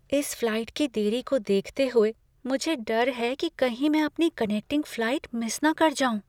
इस फ्लाइट की देरी को देखते हुए मुझे डर है कि कहीं मैं अपनी कनेक्टिंग फ्लाइट मिस न कर जाऊँ।